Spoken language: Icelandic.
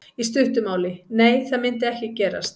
Í stuttu máli: Nei það myndi ekki gerast.